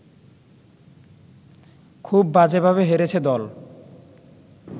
খুব বাজেভাবে হেরেছে দল